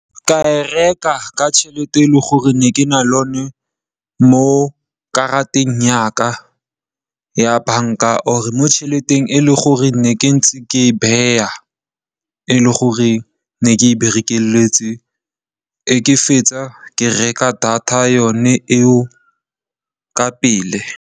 Ka e reka ka tšhelete e le gore ne ke na le yone mo karateng ya ka ya banka or mo tšheleteng e le gore ne ke ntse ke e beya, e leng gore ne ke e bereketse, ga ke fetsa ke reka data yone eo ka pele.